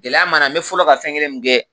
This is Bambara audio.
Gɛlɛya ma n bɛ fɔlɔ ka fɛn kelen min kɛ